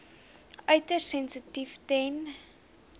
uiters sensitief ten